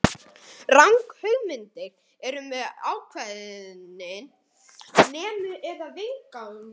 Ranghugmyndir eru með ákveðin þemu eða viðfangsefni.